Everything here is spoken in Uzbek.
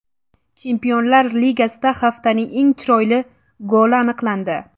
Chempionlar Ligasida haftaning eng chiroyli goli aniqlandi.